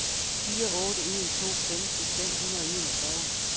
fire otte en to femten fem hundrede og enogfyrre